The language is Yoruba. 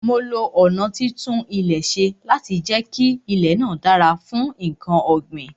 Mo lo ọ̀nà títún ilẹ̀ ṣe láti jẹ kí ilè náà dára fún nkan ọ̀ gbìn